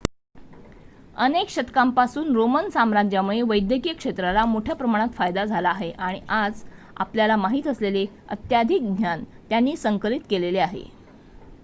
अनेक शतकांपासून रोमन साम्राज्यामुळे वैद्यकीय क्षेत्राला मोठ्या प्रमाणात फायदा झाला आहे आणि आज आपल्याला माहित असलेले अत्याधिक ज्ञान त्यांनी संकलित केलेले आहे